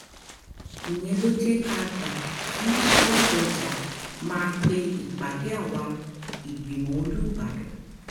ìyẹn ló jẹ́ ká gbà kí ládọ́jà máa pe ìpàdé àwa ìgbìmọ̀ olùbàdàn